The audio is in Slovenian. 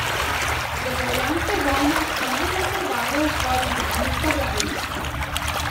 Državljanske vojne so najbolj krvave v svojih zadnjih poglavjih.